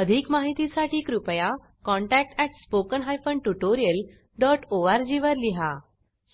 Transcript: अधिक माहितीसाठी कृपया contact at spoken hyphen tutorial dot ORG वर लिहा